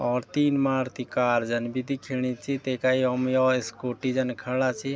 और तीन मारुती कार जन भी दिखेणी च तेका यम यौ स्कूटी जन खड़ा छी।